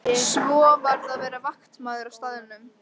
Svo varð að vera vaktmaður á staðnum.